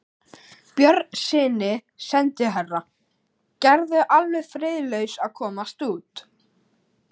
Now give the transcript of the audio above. Björnssyni sendiherra: Gerður er alveg friðlaus að komast út.